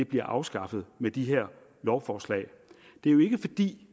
bliver afskaffet med de her lovforslag det er jo ikke fordi